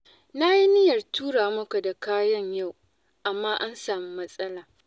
Na yi niyyar tura maka da kayan yau, amma an sami matsala.